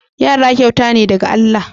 Yara kyauta ne daga Allah.